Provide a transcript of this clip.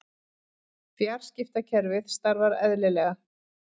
Fjarskiptakerfið starfar eðlilega